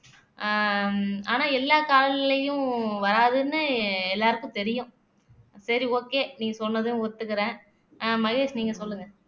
ஆஹ் ஆனா எல்லா கால்நிலைலயும் வராதுன்னு எல்லாருக்கும் தெரியும் சரி okay நீ சொன்னதையும் ஒத்துக்குறேன் ஆஹ் மகேஷ் நீங்க சொல்லுங்க